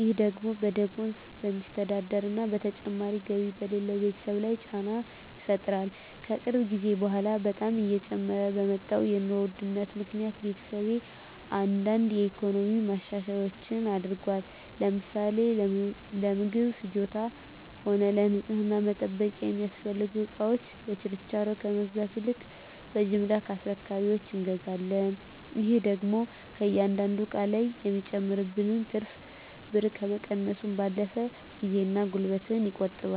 ይህ ደግሞ በደሞዝ በሚስተዳደር እና ተጨማሪ ገቢ በሌለው ቤተሰብ ላይ ጫና ይፈጥራል። ከቅርብ ጊዜ በኃላ በጣም እየጨመረ በመጣው የኑሮ ውድነት ምክኒያት ቤተሰቤ አንዳንድ የኢኮኖሚ ማሻሻያዎች አድርጓል። ለምሳሌ ለምግብ ፍጆታም ሆነ ለንፅህና መጠበቂያ የሚያስፈልጉ እቃወችን በችርቻሮ ከመግዛት ይልቅ በጅምላ ከአስረካቢወች እንገዛለን። ይህ ደግሞ ከእያንዳንዱ እቃ ላይ የሚጨመርብንን ትርፍ ብር ከመቀነሱም ባለፈ ጊዜን እና ጉልበትን ይቆጥባል።